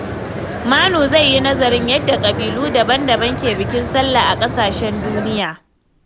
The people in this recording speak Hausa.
Manu zai yi nazarin yadda kabilu daban-daban ke bikin sallah a ƙasashen duniya.